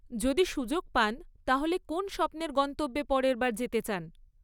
যদি সুযোগ পান তাহলে কোন স্বপ্নের গন্তব্যে পরের বার যেতে চান?